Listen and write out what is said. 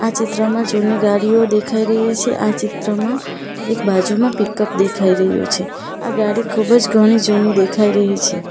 ચિત્રમાં જુની ગાડીઓ દેખાઈ રહી છે આ ચિત્રમાં એક બાજુમાં પીકપ દેખાઈ રહ્યો છે આ ગાડી ખૂબ જ ઘણી જૂની દેખાઈ રહી છે.